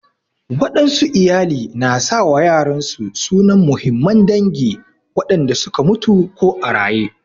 Waɗansu iyali na sa wa yaran su sunan muhimman dangi wanda su ka mutu ko a raƴe.